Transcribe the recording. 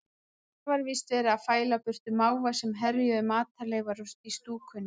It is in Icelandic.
Það var víst verið að fæla burtu máva sem herjuðu á matarleifar í stúkunni.